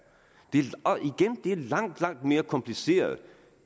langt langt mere kompliceret